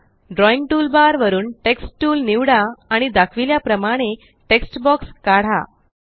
drawing toolbar वरून text tool निवडा आणि दाखविल्या प्रमाणे टेक्स्ट बॉक्स काढा